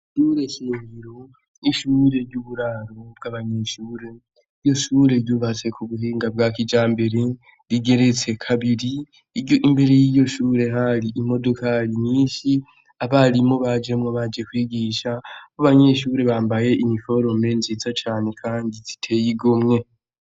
Sure sneriro n'ishure ry'uburaro bw'abanyeshure iyo shure ryubatse ku buhinga bwa kijambere rigeretse kabiri iryo imbere y'iyo shure hari imodokari nyinshi abarimo bajemwo baje kwigisha bo abanyeshure bambaye imiforome nziza cane, kandi ziteyigo mwe.